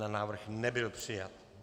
Návrh nebyl přijat.